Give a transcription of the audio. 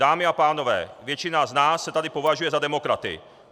Dámy a pánové, většina z nás se tady považuje za demokraty.